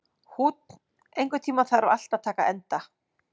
Húnn, einhvern tímann þarf allt að taka enda.